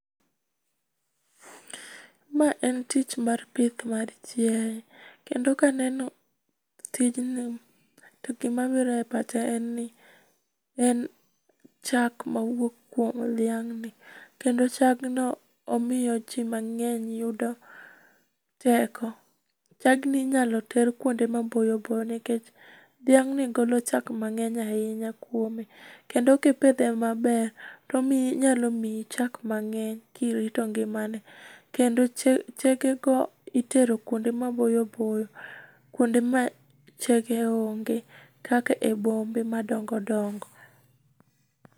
Ma en tich mar pith mar chiaye kendo ka aneno tijno gima biro e pacha en ni, en chak mawuok kuom dhiang ni kendo chagno omiyo jii mangeny yudo teko. Chagni inyalo ter kuinde maboyo boyo nikech dhiang ni golo chak mangeny ahinya kuome kendo kipidhe maber onyalo miyi chak mangeny kirito ngimane kendo chege go itero kuonde maboyo boyo kuonde ma chege onge kaka bombe ma dongo dongo